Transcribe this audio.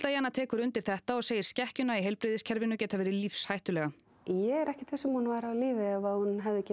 Jana tekur undir þetta og segir skekkjuna í heilbrigðiskerfinu geta verið lífshættulega ég er ekkert viss hún væri á lífi ef hún hefði ekki